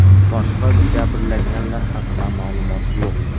Boshqa jabrlanganlar haqida ma’lumot yo‘q.